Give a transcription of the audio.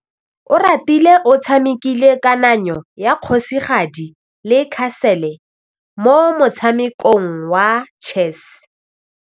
Oratile o tshamekile kananyô ya kgosigadi le khasêlê mo motshamekong wa chess.